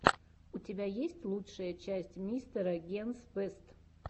у тебя есть лучшая часть мистера генс бэст